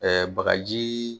Ɛɛ bagaji